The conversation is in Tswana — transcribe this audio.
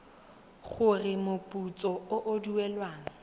gore moputso o o duelwang